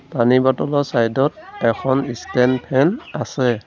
পানী বতলৰ চাইড ত এখন ষ্টেণ্ড ফেন আছে।